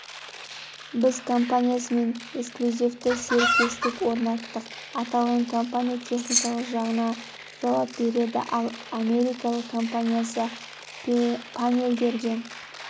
біз компаниясымен эксклюзивті серіктестік орнаттық аталған компания техникалық жағына жауап береді ал америкалық компаниясы панельдерге